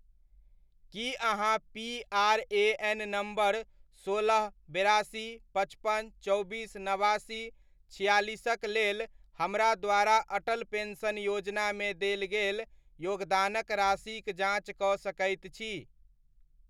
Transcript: की अहाँ PRAN. Number सोलह, बेरासी, पचपन, चौबीस, नबासी, छिआलिसक लेल हमरा द्वारा अटल पेन्शन योजनामे देल गेल योगदान राशिक जाँच कऽ सकैत छी ?